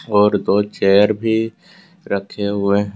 और दो चेयर भी रखे हुए हैं।